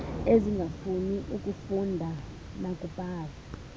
ezingafuni kufunda nakubhala